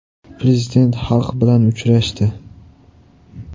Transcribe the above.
Prezident xalq bilan uchrashdi .